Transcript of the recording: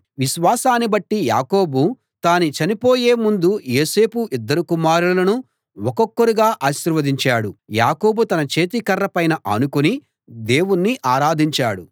విశ్వాసాన్ని బట్టి యాకోబు తాను చనిపోయే ముందు యోసేపు ఇద్దరు కుమారులను ఒక్కొక్కరుగా ఆశీర్వదించాడు యాకోబు తన చేతికర్ర పైన ఆనుకుని దేవుణ్ణి ఆరాధించాడు